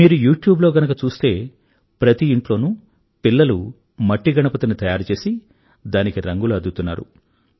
మీరు యూట్యూబ్ లో గనుక చూస్తే ప్రతి ఇంట్లోనూ పిల్లలు మట్టిగణపతిని తయారుచేసి దానికి రంగులు అద్దుతున్నారు